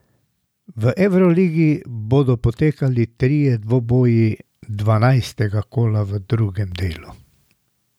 V evroligi bodo potekali trije dvoboji dvanajstega kola v drugem delu.